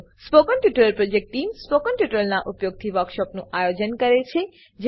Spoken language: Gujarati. spoken tutorial project team spoken ટ્યુટોરીયલોનાં ઉપયોગથી વર્કશોપોનું આયોજન કરે છે